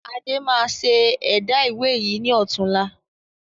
Adé máa ṣe ẹ̀dá ìwé yìí ni ọ̀tunla.